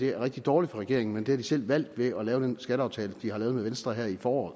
er rigtig dårligt for regeringen men det har den selv valgt ved at lave den skatteaftale den har lavet med venstre her i foråret